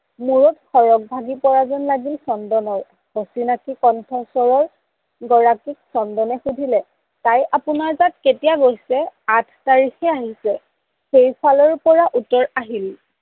মোৰত সৰগ ভাঙি পৰা যেন লাগিল চন্দনৰ, অচিনাকি কন্থস্বৰৰ গৰাকীক চন্দনে সোধিলে তাই আপোনাৰ তাত কেতিয়া গৈছে? আঠ তাৰিখে আহিছে সেইফালৰ পৰা উত্তৰ আহিল